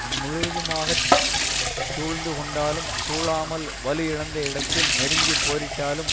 முழுவதுமாக சூழ்ந்து கொண்டாலும் சூழாமல் வலு இழந்த இடத்தில் நெருங்கி போரிட்டாலும்